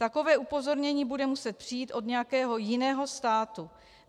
Takové upozornění bude muset přijít od nějakého jiného státu.